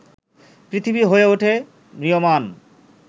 পৃথিবী হয়ে ওঠে ম্রিয়মাণ